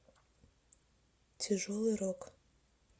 тяжелый рок